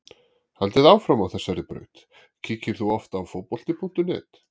Haldið áfram á þessari braut Kíkir þú oft á Fótbolti.net?